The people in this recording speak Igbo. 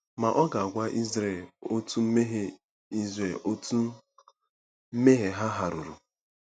Ma ọ ga-agwa Izrel otú mmehie Izrel otú mmehie ha hàruru.